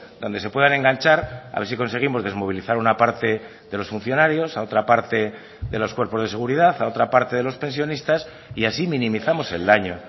donde se puedan enganchar a ver si conseguimos desmovilizar una parte de los funcionarios a otra parte de los cuerpos de seguridad a otra parte de los pensionistas y así minimizamos el daño